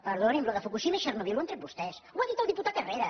perdoni’m allò de fukushima i txernòbil ho han tret vostès ho ha dit el diputat herrera